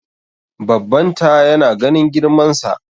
babbanta yana ganin girmansa